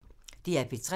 DR P3